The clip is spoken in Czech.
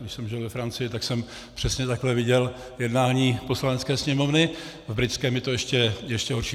Když jsem žil ve Francii, tak jsem přesně takhle viděl jednání Poslanecké sněmovny, v britském je to ještě horší.